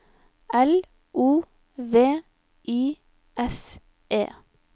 L O V I S E